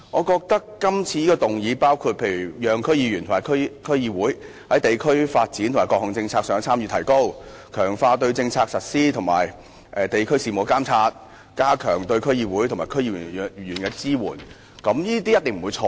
今次議案的內容包括讓區議員和區議會在地區發展和各項政策上的參與提高、強化對政策實施及地區事務的監察，以及加強對區議會和區議員的支援，我認為這些一定不會錯。